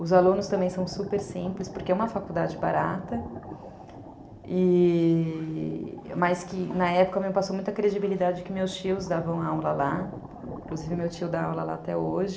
Os alunos também são super simples, porque é uma faculdade barata, e... mas que na época me passou muita credibilidade que meus tios davam aula lá, inclusive meu tio dá aula lá até hoje.